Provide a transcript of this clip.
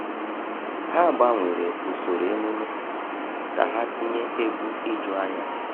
Ha gbanwere usoro emume ka ha tinye egwu ijuanya.